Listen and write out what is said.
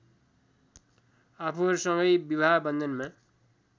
आफूहरूसँगै विवाह वन्धनमा